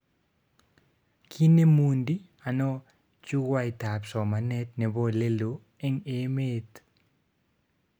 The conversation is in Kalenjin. Kinemundi ano jukwaitab somanet nebo oleloo eng emet?